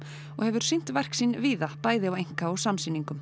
og hefur sýnt verk sín víða bæði á einka og samsýningum